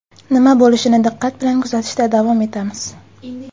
Nima bo‘lishini diqqat bilan kuzatishda davom etamiz.